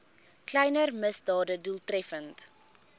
kleiner misdade doeltreffend